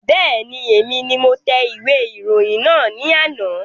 Bẹ́ẹ̀ni, èmi ni mo tẹ ìwé ìròyìn náà ní àná